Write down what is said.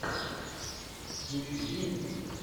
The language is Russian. включи деньги